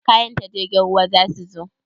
Kayan ta jirgin ruwa zasu zo?